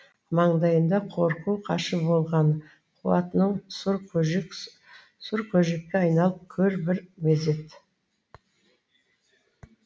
маңдайында қорқу қашу болған қуатының сұр көжек сұр көжекке айналып көр бір мезет